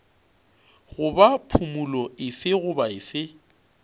goba phumolo efe goba efe